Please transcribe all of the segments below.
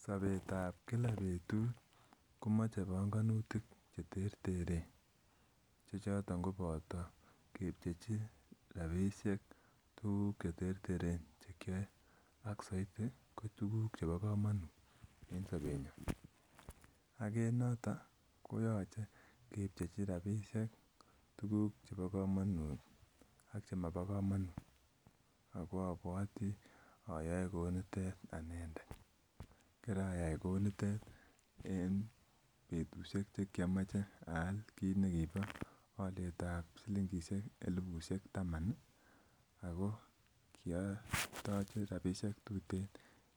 Sobetab Kila betut komache banganutik cheterteren. Chechoton ko boto rabisiek tuguk cheterteren kyoe en saiti en sobeng'u. Konoton koyoche kebchechi rabisiek tuguk chebo komonuut ak chemobo komonuut. Abuati ayoe kounitet en betusiek tugul cheomoche aal kinekibo silingishek elibusiek taman Ako kiatache rabisiek tuten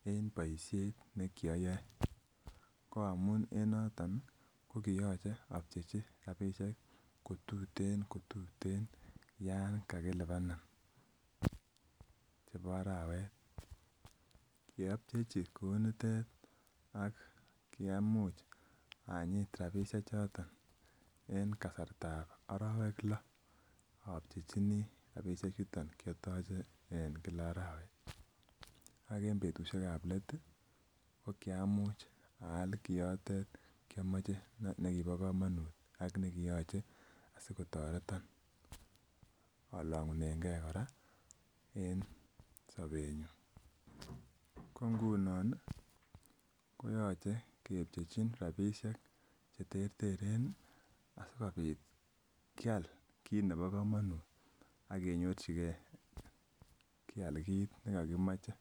en boisiet nekiyoe ko amuun en noton kokiyoche abchechi rabisiek kotuten kotuten Yoon kakilibanan chebo arawet, yeabchechi kounitet ak kiamuch anyit rabisiek choton en kasartab arawek loo. Abchechini rabisiek chuton kiatoche en Kila arawet ak en betusiek AP let ko kiamuch aal kiotet kiamoche nekibo komonuut akiamoche asikotoretan alang'unenge kora en sobenyun koingunon koyache kebchechi rabisiek asikobit kial kit nebo komanut akenyorchike kit nekokimoche